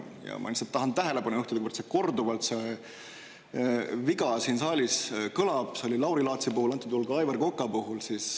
Ma lihtsalt tahan tähelepanu juhtida, et korduvalt on see viga siin saalis kõlanud, see oli nii Lauri Laatsi puhul ja on antud juhul nii ka Aivar Koka puhul.